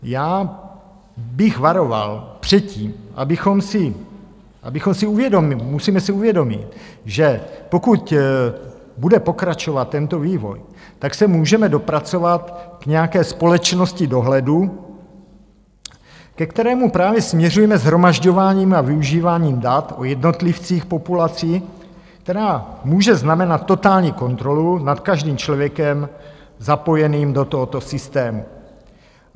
Já bych varoval před tím... abychom si uvědomili, musíme si uvědomit, že pokud bude pokračovat tento vývoj, tak se můžeme dopracovat k nějaké společnosti dohledu, ke kterému právě směřujeme shromažďováním a využíváním dat o jednotlivcích populací, která může znamenat totální kontrolu nad každým člověkem zapojeným do tohoto systému.